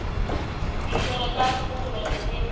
ditirelo tsa tsosoloso tse di